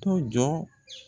To jɔ.